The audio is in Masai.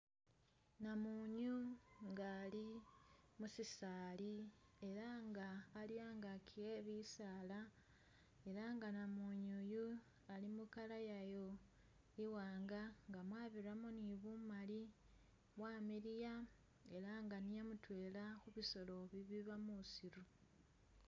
Namunyu nga ali musisaali ela nga ali angaki ebisaala ela nga namunyu uyu ali mukaala yayo iwanga nga mwaruramo ne bumaali wamiliya ela nga niye mutwela khubisolo bibiiba musiru.